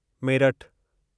मेरठु